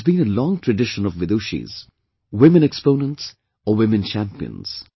There has been a long tradition of Vidushis... women exponents or women champions